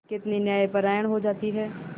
कितनी न्यायपरायण हो जाती है